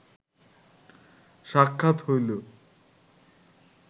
সাক্ষাৎ হইল